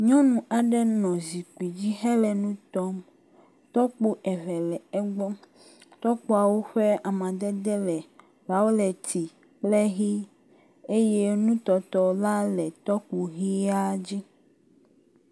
nyɔnu aɖe le zikpidzi hele nutɔm tɔkpo eve le egbɔ tɔkpoawo ƒe amadede le vaolɛti kple hi eye nutɔtɔ la le tɔkpo via dzi